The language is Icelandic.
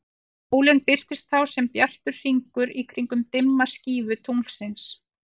Sólin birtist þá sem bjartur hringur í kringum dimma skífu tunglsins.